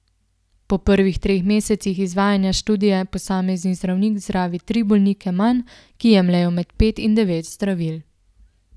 Po prvih treh mesecih izvajanja študije posamezni zdravnik zdravi tri bolnike manj, ki jemljejo med pet in devet zdravil.